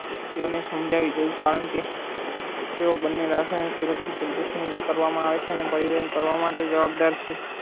તેને સમજવી દઉં કારણ કે તેઓ બન્ને રસાયણ સુરક્ષિત રીતે કરવા માં આવે છે ને બળીવન કરવા માટે જવાબદાર છે